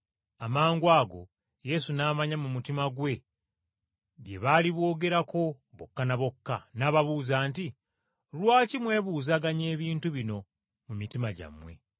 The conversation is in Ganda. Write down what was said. Amangwago Yesu n’amanya mu mutima gwe bye baali boogerako bokka ne bokka n’ababuuza nti, “Lwaki mwebuuzaganya ebintu bino mu mitima gyammwe?